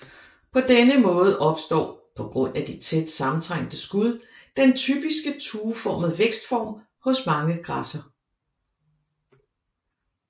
På denne måde opstår på grund af de tæt sammentrængte skud den typisk tueformede vækstform hos mange græsser